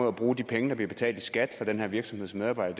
at bruge de penge der bliver betalt i skat af den her virksomheds medarbejdere